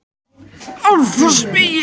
Álafossvegi